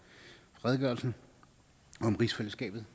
redegørelsen om rigsfællesskabet